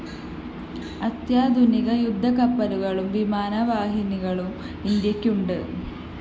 അത്യാധുനിക യുദ്ധകപ്പലുകളും വിമാനവാഹിനികളും ഇന്ത്യയ്ക്കുണ്ട്‌